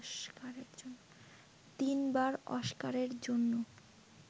তিনবার অস্কারের জন্য